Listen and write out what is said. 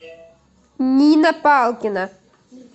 нина палкина